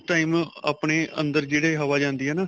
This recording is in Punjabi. ਉਸ time ਆਪਣੇ ਅੰਦਰ ਜਿਹੜੀ ਹਵਾਂ ਜਾਂਦੀ ਹੈ ਨਾ